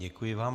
Děkuji vám.